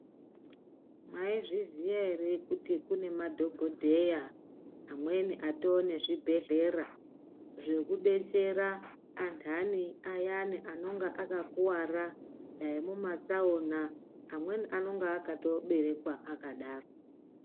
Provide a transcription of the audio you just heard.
Mwaizvixiya ere kuti kune madhokodheya amweni atone zvibhedhlera zvekudetsera antani ayani anenge akakuwara dai mumatsaona amweni anenge akatoberekwa akadaro.